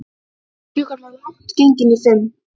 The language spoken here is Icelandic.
Klukkan var langt gengin í fimm.